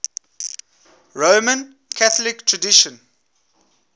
roman catholic tradition